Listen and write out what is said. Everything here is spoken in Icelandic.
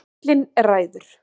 Karlinn ræður.